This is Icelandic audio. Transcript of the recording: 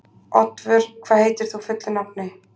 Oddvör, hvað heitir þú fullu nafni?